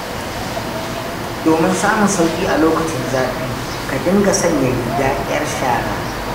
Domin samun sauƙi a lokacin zafi, ka dinga sanya riga 'yar shara.